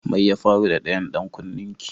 Mai ya faru da ɗayan dan kunnen ki?